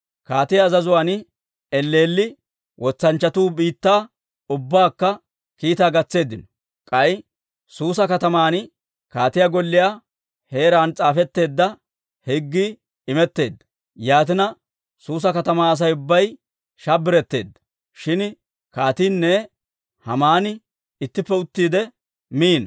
Kaatiyaa azazuwaan elleelli wotsanchchatuu biittaa ubbaakka kiitaa gatseeddino. K'ay Suusa kataman kaatiyaa golliyaa heeraan s'aafetteedda higgii imetteedda. Yaatina, Suusa katamaa Asay ubbay shabbiretteedda. Shin kaatiinne Haamani ittippe uttiide, miino.